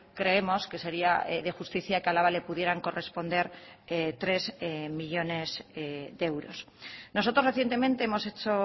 creemos que sería de justicia que a álava le pudieran corresponder tres millónes de euros nosotros recientemente hemos hecho